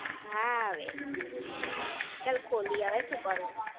હા હવે. ચલ ખોલી હવે શું કરું?